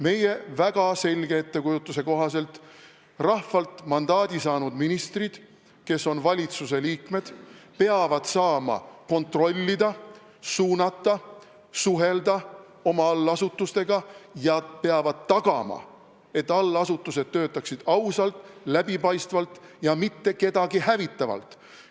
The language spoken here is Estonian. Meie väga selge ettekujutuse kohaselt peavad rahvalt mandaadi saanud ministrid, kes on valitsuse liikmed, saama kontrollida ja suunata oma allasutusi, nad peavad saama nendega suhelda ja peavad tagama, et allasutused töötaksid ausalt, läbipaistvalt ja mitte kedagi hävitavalt.